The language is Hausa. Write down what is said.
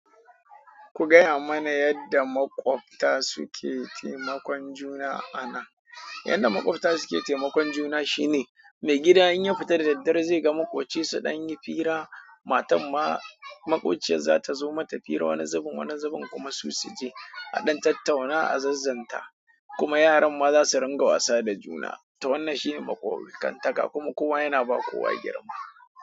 Ku gaya mana yadda maƙwabta suke taimakon juna anan. Yadda maƙwabta suke taimakon juna shine, mai gida in ya fita da daddare zai ga makwabci su ɗan yi hira, matan ma makwabciyar za ta zo mata hira wani zubin, wani zubin kuma su suje aɗan tattauna, a zazzanta kuma yaran ma za su ringa wasa da juna. Ta wannan shine makwabta, kantaka kuma kowa yana ba kowa girma.